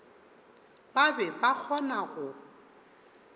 ba be ba kgona go